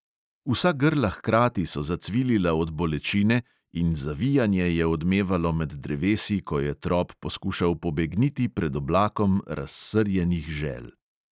Vsa grla hkrati so zacvilila od bolečine in zavijanje je odmevalo med drevesi, ko je trop poskušal pobegniti pred oblakom razsrjenih žel.